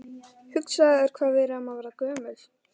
Hugsaðu þér hvað við erum að verða gömul.